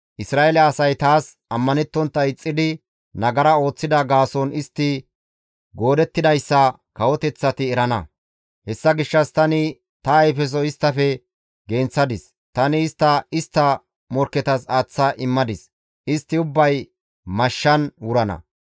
Isra7eele asay taas ammanettontta ixxidi nagara ooththida gaason istti goodettidayssa kawoteththati erana. Hessa gishshas tani ta ayfeso isttafe genththadis; tani istta istta morkketas aaththa immadis; istti ubbay mashshan wurida.